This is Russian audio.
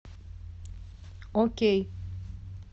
окей